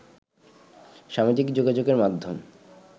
সামাজিক যোগাযোগের মাধ্যম